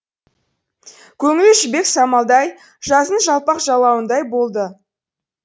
көңілі жібек самалдай жаздың жалпақ жайлауындай болатын